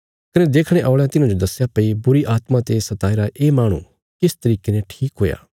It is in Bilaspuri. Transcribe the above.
कने देखणे औल़यां तिन्हांजो दस्या भई बुरीआत्मा ते सताईरा ये माहणु किस तरिके ने ठीक हुया